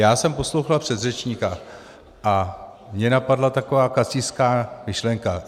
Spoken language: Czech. Já jsem poslouchal předřečníka a mě napadla taková kacířská myšlenka.